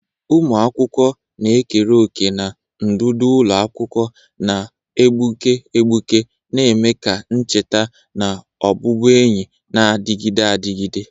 Ụmụ akwụkwọ na-ekere òkè na ndụ ụlọ akwụkwọ na-egbuke egbuke, na-eme ka ncheta na ọbụbụenyi na-adịgide adịgide..